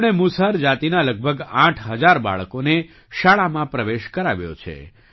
તેમણે મુસહર જાતિના લગભગ આઠ હજાર બાળકોને શાળામાં પ્રવેશ કરાવ્યો છે